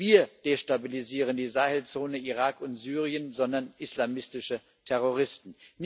Nicht wir destabilisieren die Sahelzone, Irak und Syrien, sondern islamistische Terroristen.